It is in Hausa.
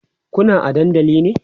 Kuna a dandali ne?